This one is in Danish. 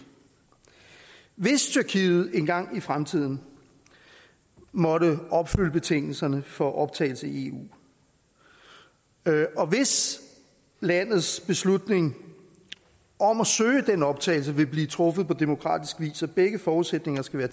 hvis tyrkiet engang i fremtiden måtte opfylde betingelserne for optagelse i eu og hvis landets beslutning om at søge optagelse vil blive truffet på demokratisk vis begge forudsætninger skal være